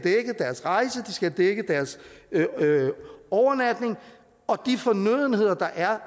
dækket deres overnatning og de fornødenheder der er